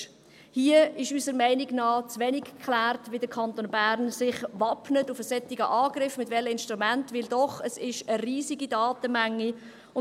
Hier ist unserer Meinung nach zu wenig geklärt, wie und mit welchen Instrumenten sich der Kanton Bern gegen einen solchen Angriff wappnet, weil es doch eine riesige Datenmenge ist.